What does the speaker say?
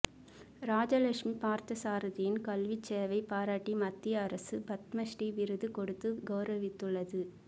ராஜலட்சுமி பார்த்தசாரதியின் கல்விச்சேவை பாராட்டி மத்திய அரசு பத்மஸ்ரீ விருது கொடுத்து கௌரவித்துள்ளது